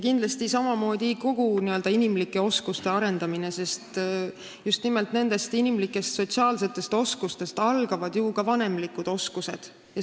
Kindlasti tuleb samamoodi arendada kõiki n-ö inimlikke oskusi, sest just nimelt nendest sotsiaalsetest oskustest algavad ka vanemlikud oskused.